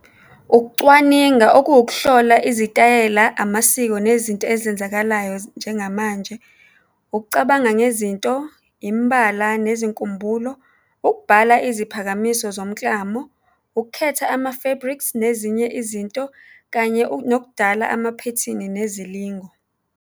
Ukucwaninga okuwukuhlola izitayela, amasiko nezinto ezenzakalayo njengamanje, ukucabanga ngezinto, imbala nezinkumbulo, ukubhala iziphakamiso zomklamo, ukukhetha ama-fabrics nezinye izinto, kanye nokudala amaphethini nezilingo.